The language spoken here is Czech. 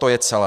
To je celé.